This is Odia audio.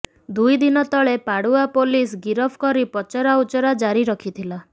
ଦୁଇ ଦିନ ତଳେ ପାଡୁଆ ପୋଲିସ ଗିରଫ କରି ପଚରା ଉଚରା ଜାରି ରଖିଥିଲା